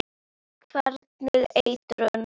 Hvernig eitrun?